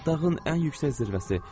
Dağın ən yüksək zirvəsi.